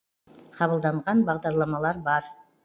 қабылданған бағдарламалар бар